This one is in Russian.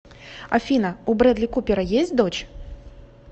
афина у брэдли купера есть дочь